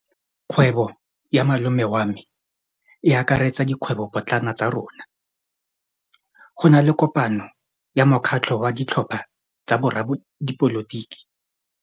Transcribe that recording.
Kgwêbô ya malome wa me e akaretsa dikgwêbôpotlana tsa rona. Go na le kopanô ya mokgatlhô wa ditlhopha tsa boradipolotiki.